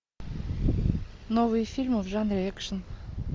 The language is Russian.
новые фильмы в жанре экшн